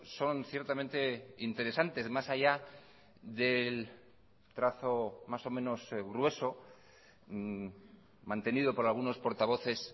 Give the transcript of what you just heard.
son ciertamente interesantes más allá del trazo más o menos grueso mantenido por algunos portavoces